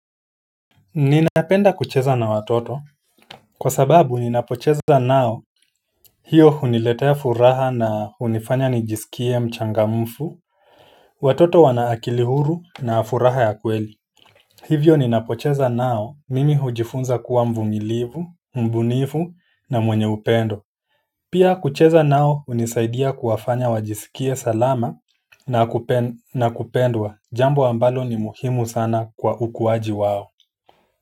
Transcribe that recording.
Ninapenda kucheza na watoto kwa sababu ninapocheza nao hiyo huniletea furaha na hunifanya nijisikie mchangamfu watoto wana akili huru na furaha ya kweli, hivyo ninapocheza nao mimi hujifunza kuwa mvumilivu, mbunifu na mwenye upendo pia kucheza nao hunisaidia kuwafanya wajisikie salama na na kupendwa jambo ambalo ni muhimu sana kwa ukuwaji wao.